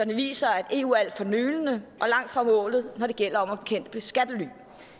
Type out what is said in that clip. viser at eu er alt for nølende og langt fra målet når det gælder om at bekæmpe skattely